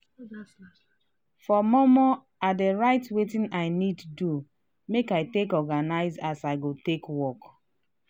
for mor-mor i dey write weting i need do make i take organize as i go take work.